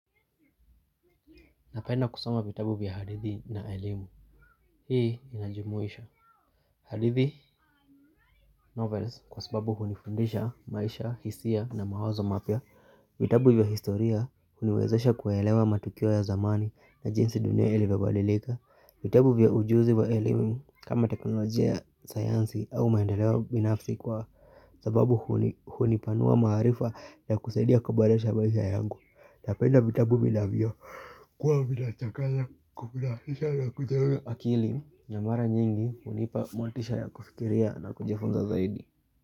Napenda kusama vitabu vya hadithi na elimu. Hii inajumuisha. Hadithi novels kwa sababu hunifundisha maisha, hisia na mawazo mapya. Vitabu vya historia uniwezesha kuwaelewa matukio ya zamani na jinsi dunia ilivyibadilika. Vitabu vya ujuzi wa ilimu kama teknolojia ya sayansi au maendeleo binafsi kwa sababu hunipanua maarifa na kusaidia kaboresha maisha yangu. Napenda vitabu vinavyo kuwa vinachangnya kufurahisha na kujenga akili na mara nyingi hunipa motisha ya kufikiria na kujifunza zaidi.